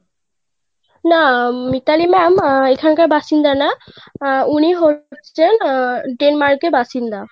না মিতালি ma'am আহ এখানকার বাসিন্দা না উনি হচ্ছেন আহ Denmark এর বাসিন্দা.